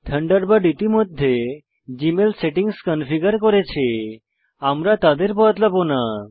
Thunderbird ইতিমধ্যে Gmail settings configure করেছে আমরা তাদের বদলাবো না